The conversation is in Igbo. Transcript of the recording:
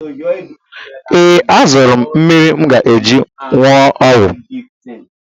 Ee, azụrụ m mmiri m ga-eji wụọ ọgwụ.